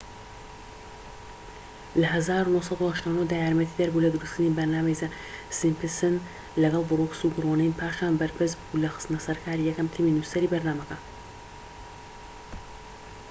لە ١٩٨٩ دا یارمەتیدەر بوو لە دروستکردنی بەرنامەی زە سیمپسن لەگەڵ بروکس و گرۆنین، پاشان بەرپرس بوو لە خستنە سەرکاری یەکەم تیمی نوسەری بەرنامەکە